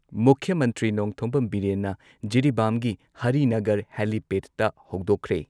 ꯃꯨꯈ꯭ꯌ ꯃꯟꯇ꯭ꯔꯤ ꯅꯣꯡꯊꯣꯝꯕꯝ ꯕꯤꯔꯦꯟꯅ ꯖꯤꯔꯤꯕꯥꯝꯒꯤ ꯍꯔꯤꯅꯒꯔ ꯍꯦꯂꯤꯄꯦꯗꯇ ꯍꯧꯗꯣꯛꯈ꯭ꯔꯦ꯫